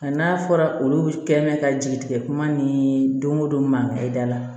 Nka n'a fɔra olu kɛ mɛ ka jigi tigɛ kuma ni don o don mankan ye da la